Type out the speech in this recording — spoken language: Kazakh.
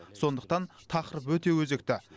сондықтан тақырып өте өзекті